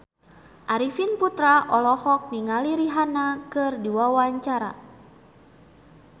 Arifin Putra olohok ningali Rihanna keur diwawancara